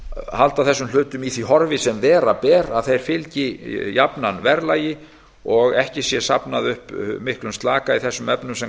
halda þessum hlutum í því horfi sem vera ber að þeir fylgi jafnan verðlagi og ekki sé safnað upp miklum slaka í þessum efnum sem